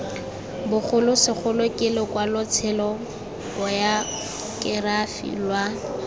bogolosegolo ke lokwalotshelo bayokerafi lwa